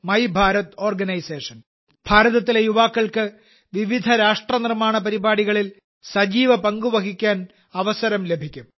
MY Bharat organisation ഭാരതത്തിലെ യുവാക്കൾക്ക് വിവിധ രാഷ്ട്ര നിർമ്മാണ പരിപാടികളിൽ സജീവ പങ്ക് വഹിക്കാൻ അവസരം ലഭിക്കും